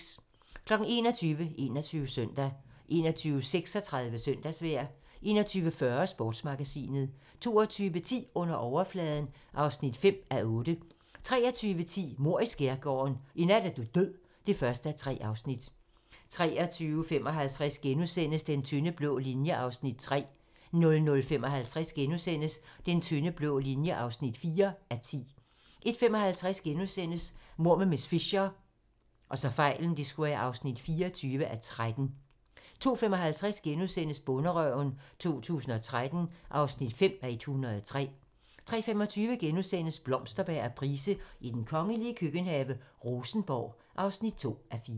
21:00: 21 Søndag 21:36: Søndagsvejr 21:40: Sportsmagasinet 22:10: Under overfladen (5:8) 23:10: Mord i Skærgården: I nat er du død (1:3) 23:55: Den tynde blå linje (3:10)* 00:55: Den tynde blå linje (4:10)* 01:55: Mord med miss Fisher (24:13)* 02:55: Bonderøven 2013 (5:103)* 03:25: Blomsterberg og Price i den kongelige køkkenhave: Rosenborg (2:4)*